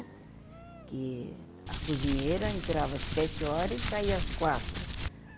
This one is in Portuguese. Porque a cozinheira entrava às sete horas e saía às quatro.